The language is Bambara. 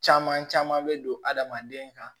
Caman caman bɛ don adamaden kan